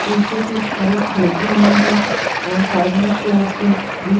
शीशे की सेल्फ लगी हुईं हैं और साइड में शोपीस भी--